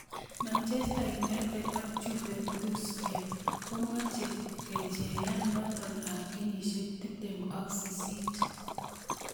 Manchester United ak Juventuspia komeche kecheyat noto ab kenyisiek 28.